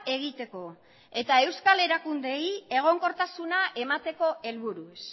egiteko eta euskal erakundeei egonkortasuna emateko helburuz